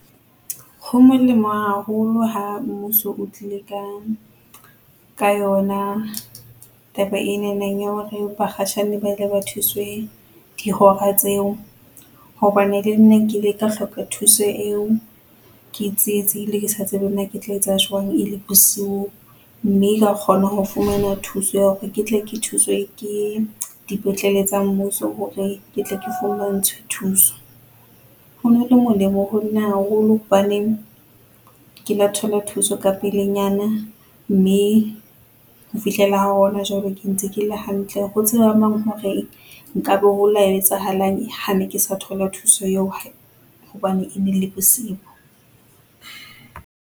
Ho molemo haholo ha mmuso o tlile ka, ka yona taba enana ya hore bakhatjhane ile ba thuswe dihora tseo hobane le nna ke ile ka hloka thuso eo ke tsietsehile ke sa tsebe na ke tla etsa jwang, e le bosiu mme ka kgona ho fumana thuso ya hore ke tle ke thuswe ke, dipetlele tsa mmuso hore ke tle ke fumantshwe thuso. Ho no le molemo ho nna haholo hobaneng, ke la thola thuso ka pelenyana mme ho fihlela ha hona jwale, ke ntse ke le hantle. Ho tseba mang hore nka be ho la etsahalang ha ne ke sa thola thuso eo hobane e ne le bosiu.